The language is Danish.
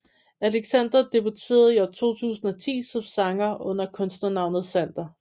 Alexander debuterede i 2010 som sanger under kunstnernavnet Xander